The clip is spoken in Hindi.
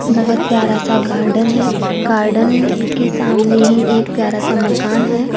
बहोत प्यारा-सा गार्डन है गार्डन के सामने ही एक प्यारा-सा मकान है।